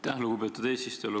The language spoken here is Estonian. Aitäh, lugupeetud eesistuja!